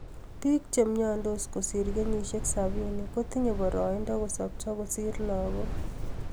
Biik che myandos kosir kenyishek sapini kotinye baraido kosopcho kosir lagook